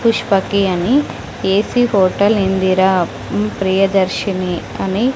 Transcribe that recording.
పుష్పకి అని AC hotel Indira మ్మ్ ప్రియదర్శిని అని--